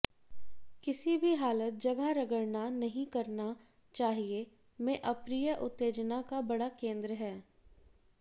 किसी भी हालत जगह रगड़ना नहीं करना चाहिए में अप्रिय उत्तेजना का बड़ा केंद्र है